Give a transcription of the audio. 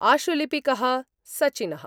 आशुलिपिक: Sachin: